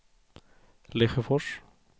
Lesjöfors